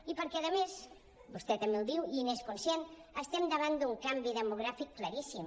i perquè a més vostè també ho diu i n’és conscient estem davant d’un canvi demogràfic claríssim